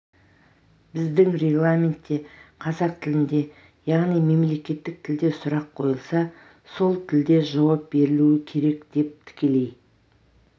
біздің регламентте қазақ тілінде яғни мемлекеттік тілде сұрақ қойылса сол тілде жауап берілуі керек деп тікелей